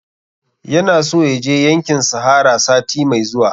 Yana so ya je yankin sahara sati mai zuwa